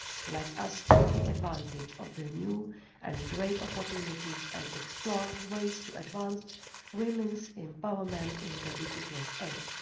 Let us take advantage of the new and great opportunities and explore ways to advance women's empowerment in the digital age.